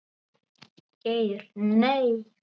Geir Nei.